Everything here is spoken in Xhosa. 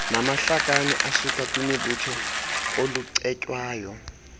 namahlakani asukakwimibutho olucetywayo